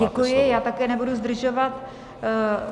Děkuji, já také nebudu zdržovat.